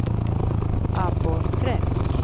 Abborrträsk